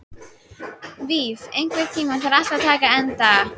Víf, einhvern tímann þarf allt að taka enda.